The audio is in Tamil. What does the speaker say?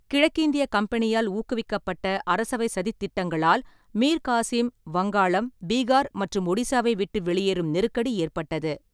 கிழக்கிந்திய கம்பனியால் ஊக்குவிக்கப்பட்ட அரசவைச் சதித் திட்டங்களால் மீர் காசிம் வங்காளம், பீகார் மற்றும் ஒடிசாவை விட்டு வெளியேறும் நெருக்கடி ஏற்பட்டது.